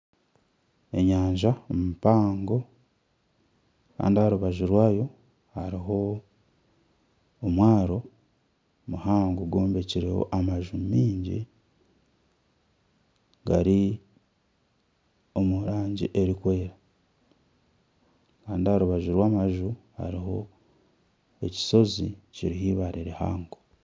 Enyanja mpango Kandi aha rubaju rwayo hariho omwaro muhango gwombekyireho amaju maingi gari omu rangi erikwera Kandi aha rubaju rw'amaju hariho ekishozi kiriho eibare rihango.